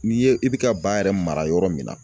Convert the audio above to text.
N'i ye i bi ka ba yɛrɛ mara yɔrɔ min na